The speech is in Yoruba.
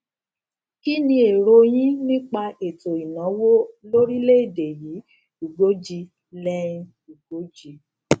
kí ni èrò yín nípa ètò ìnáwó lórílẹèdè yìí ugoji lenín ugoji